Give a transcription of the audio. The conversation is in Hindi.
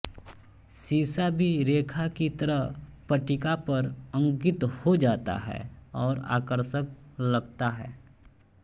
सीसा भी रेखा की तरह पट्टिका पर अंकित हो जाता है और आकर्षक लगता है